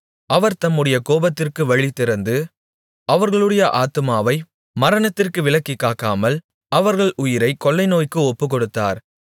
அவர் தம்முடைய கோபத்திற்கு வழிதிறந்து அவர்களுடைய ஆத்துமாவை மரணத்திற்கு விலக்கிக் காக்காமல் அவர்கள் உயிரைக் கொள்ளைநோய்க்கு ஒப்புக்கொடுத்தார்